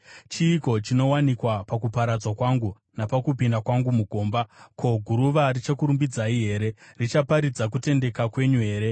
“Chiiko chinowanikwa pakuparadzwa kwangu, napakupinda kwangu mugomba? Ko, guruva richakurumbidzai here? Richaparidza kutendeka kwenyu here?